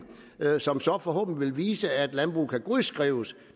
som så forhåbentlig vil vise at landbruget kan godskrives